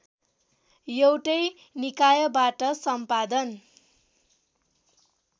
एउटै निकायबाट सम्पादन